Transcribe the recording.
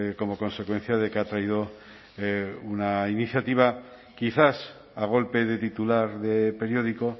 como consecuencia de que ha traído una iniciativa quizás a golpe de titular de periódico